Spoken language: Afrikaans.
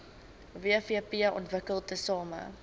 wvp ontwikkel tesame